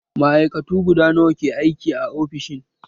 Ma'aikatu guda nawa ke aiki a ofishin?